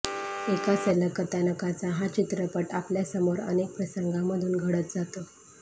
एका सलग कथानकाचा हा चित्रपट आपल्यासमोर अनेक प्रसंगांमधून घडत जातो